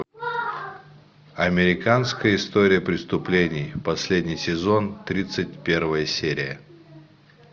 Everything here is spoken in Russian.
американская история преступлений последний сезон тридцать первая серия